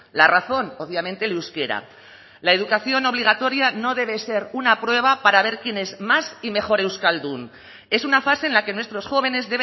la razón obviamente el euskera la educación obligatoria no debe ser una prueba para ver quién es más y mejor euskaldun es una fase en la que nuestros jóvenes